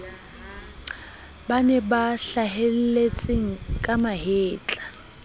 bane ba hlahelletseng ka mahetla